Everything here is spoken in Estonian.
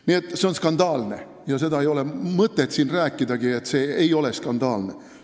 Nii et see on skandaalne ja ei ole mõtet siin rääkidagi, nagu see ei oleks skandaalne.